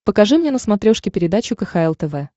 покажи мне на смотрешке передачу кхл тв